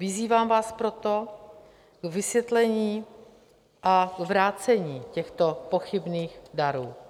Vyzývám vás proto k vysvětlení a vrácení těchto pochybných darů.